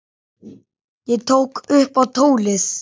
Ég tók upp tólið.